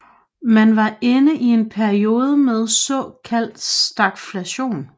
Man var inde i en periode med såkaldt stagflation